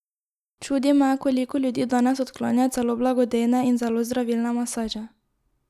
Čudi me, koliko ljudi danes odklanja celo blagodejne in zelo zdravilne masaže.